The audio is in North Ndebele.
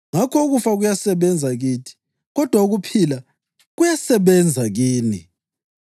Ngakho ukufa kuyasebenza kithi kodwa ukuphila kuyasebenza kini.